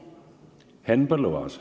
Henn Põlluaas.